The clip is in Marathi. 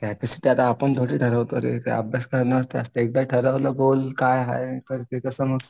कपॅसिटी आता आपण थोडी ठरवतो रे अभ्यास करणार एकदा ठरवलं गोल काय आहे तर ते तसं मग